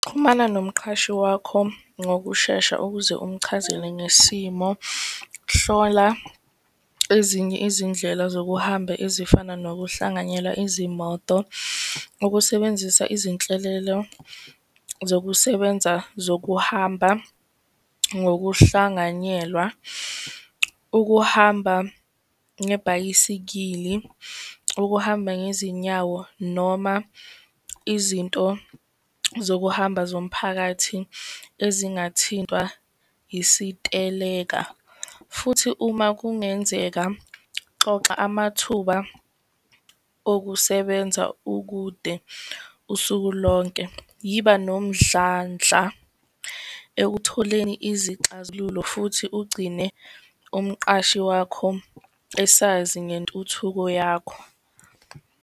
Xhumana nomqhashi wakho ngokushesha ukuze umchazele ngesimo. Hlola ezinye izindlela zokuhamba ezifana nokuhlanganyela izimoto. Ukusebenzisa izinhlelelo zokusebenza zokuhamba ngokuhlanganyelwa. Ukuhamba ngebhayisikili, ukuhamba ngezinyawo, noma izinto zokuhamba zomphakathi, ezingathintwa isiteleka. Futhi, uma kungenzeka, xoxa amathuba okusebenza ukude usuku lonke. Yiba nomdlandla ekutholeni izixazululo, futhi ugcine umqashi wakho esazi ngentuthuko yakho.